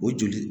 O joli